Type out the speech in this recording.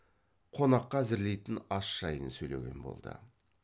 қонаққа әзірлейтін ас жайын сөйлеген болды